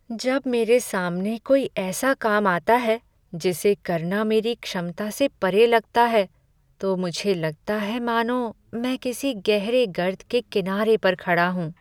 जब मेरे सामने कोई ऐसा काम आता है जिसे करना मेरी क्षमता से परे लगता है, तो मुझे लगता है मानो मैं किसी गहरे गर्त के किनारे पर खड़ा हूँ।